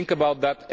Think about that.